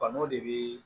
Ban'o de bi